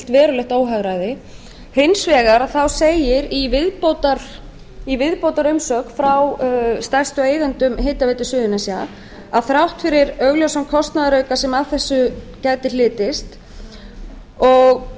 verulegt óhagræði hins vegar segir í viðbótarumsögn frá stærstu eigendum hitaveitu suðurnesja að þrátt fyrir augljósan kostnaðarauka sem af þessu gæti hlotist og